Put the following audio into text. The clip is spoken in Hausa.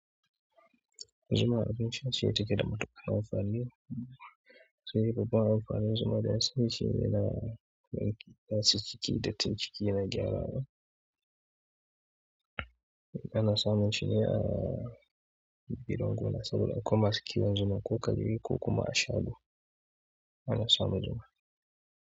Zuma abinci ce cike da matuƙa na amfani. Sai babban amfani zuma da na sani shi ne na kaci kici da tayi ciki yana gyarawa. Ana samun shi ne a biran gona saboda akwai masu kiwon zuma ko ka ji ko kuma ashago ana samun zuma.